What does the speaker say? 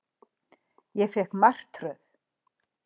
Ég fékk martröð.